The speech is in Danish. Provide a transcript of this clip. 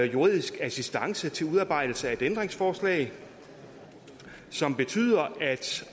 juridisk assistance til udarbejdelse af et ændringsforslag som betyder at